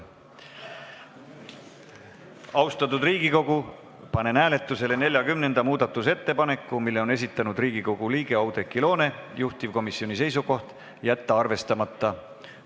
Austatud Riigikogu, panen hääletusele 40. muudatusettepaneku, mille on esitanud Riigikogu liige Oudekki Loone, juhtivkomisjoni seisukoht: jätta see arvestamata.